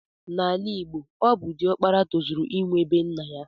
Na ala igbo ọbụ di okpara tozuru inwe bee nnaya.